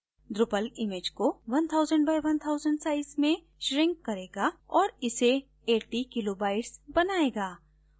drupal image को 1000 by 1000 size में shrink करेगा और इसे 80 kilo bytes बनायेगा